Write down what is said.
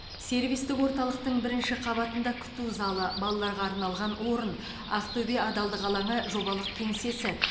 сервистік орталықтың бірінші қабатында күту залы балаларға арналған орын ақтөбе адалдық алаңы жобалық кеңсесі